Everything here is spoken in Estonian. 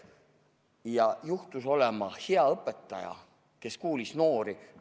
Ja kui juhtus olema hea õpetaja, siis ta kuulas noori.